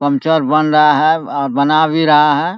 Puncture बन रहा है और बना भी रहा है।